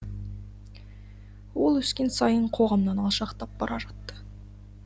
ол өскен сайын қоғамнан алшақтап бара жатты